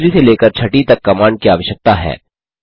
तीसरी से लेकर छठी तक कमांड की आवश्यकता है